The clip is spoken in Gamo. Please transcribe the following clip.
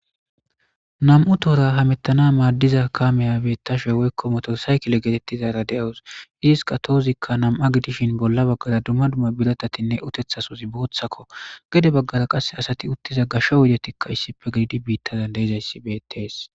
nam7u tohora hamettana maaddiza kaameyabeettashe woykkomoto saykile geetettizara de7awus iziska toozikka nam7a gidishin bolla baggara dumma dumma birotatinne utethasuzi booththakko gede baggara qasse asati uttiza gashsho wodetikka issife gididi biittazan deizayssi beettees